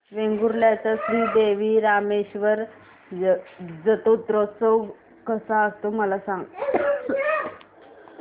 वेंगुर्ल्या चा श्री देव रामेश्वर जत्रौत्सव कसा असतो मला सांग